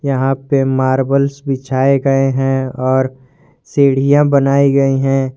यहां पे मार्बल्स बिछाए गए हैं और सीढ़ियां बनाई गई हैं।